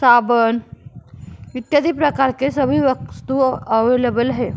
साबुन इत्यादि प्रकार के सभी वस्तुये अवलेवल है।